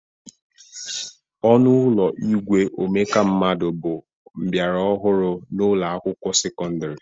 Ọnụ ụlọ igwe omeka mmadụ bụ mbịara ọhụrụ n'ụlọ akwụkwọ sekọndịrị